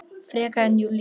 Frekar en Júlía.